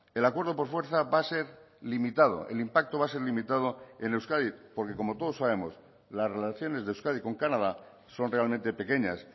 el acuerdo por fuerza va a ser limitado el impacto va a ser limitado en euskadi porque como todos sabemos las relaciones de euskadi con canadá son realmente pequeñas